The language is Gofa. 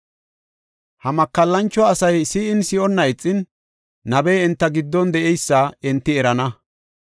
Ha makallancho asay si7in, si7onna ixin, nabey enta giddon de7eysa enti erana.